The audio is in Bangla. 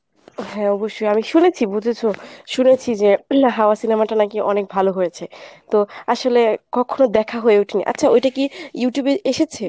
হ্যাঁ অবশ্যই আমি শুনেছি বুঝেছো? শুনেছি যে হাওয়া cinema টি নাকি অনেক ভালো হয়েছে তো আসলে কখনো দেখা হয়ে ওঠে নি আচ্ছা ওইটা কী Youtube এ এসেছে?